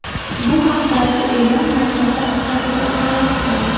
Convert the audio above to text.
Bu haqdagi e’lon muassasa saytida joylashtirildi .